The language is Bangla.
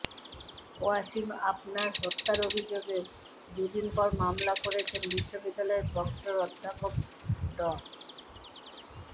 ওয়াসিম আফনান হত্যার অভিযোগে দুদিন পর মামলা করেছেন বিশ্ববিদ্যালয়ের প্রক্টর অধ্যাপক ড